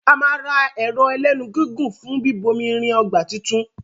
a má rà Agolo ẹlẹ́nu gígùn fún bíbomirin ọgbà títún.